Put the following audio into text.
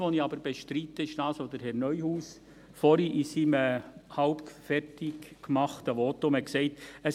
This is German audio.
Was ich aber bestreite, ist das, was Herr Neuhaus vorhin in seinem halb fertig gemachten Votum gesagt hat: